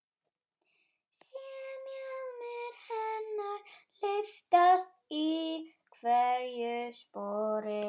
Sé mjaðmir hennar lyftast í hverju spori.